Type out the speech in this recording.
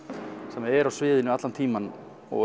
sem er á sviðinu allan tímann og